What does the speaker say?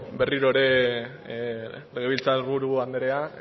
berriro ere legebiltzar buru anderea